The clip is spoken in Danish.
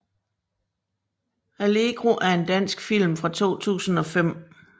Allegro er en dansk film fra 2005